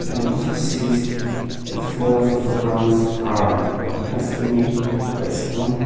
we can also see the floors also grounds are nicely made by stone.